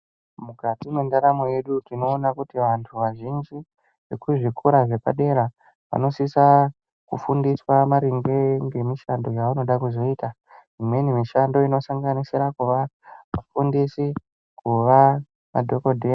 Mukati mwendaramo yedu tinoona kuti anthu azhinji ekuzvikora zvepadera anosisa kufundiswa maringe ngemishando yevanode kuzoita imweni mishando inosanganisira kuva mufundisi, kuva madhokodheya.